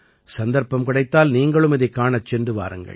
சந்தர்ப்பம் கிடைத்தால் நீங்களும் இதைக் காணச் சென்று வாருங்கள்